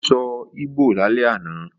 Ó sọ Ìgbò lálẹ́ àná